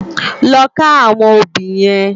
Lò ká áwòn óbì yèn